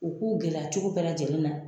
U k'u gɛlɛya cogo bɛɛ lajɛlen na